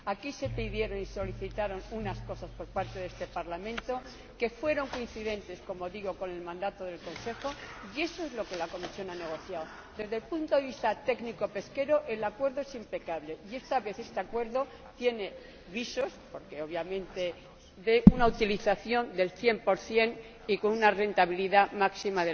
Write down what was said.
En primer lugar, aquí se pidieron y solicitaron unas cosas por parte de este Parlamento que fueron coincidentes —como digo— con el mandato del Consejo. Y esto es lo que la Comisión ha negociado. Desde el punto de vista técnico pesquero el Acuerdo es impecable, y esta vez este Acuerdo tiene visos, obviamente, de una utilización del cien por cien y con una rentabilidad máxima.